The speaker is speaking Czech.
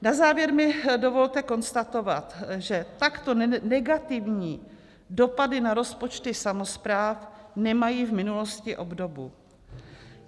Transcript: Na závěr mi dovolte konstatovat, že takto negativní dopady na rozpočty samospráv nemají v minulosti obdobu.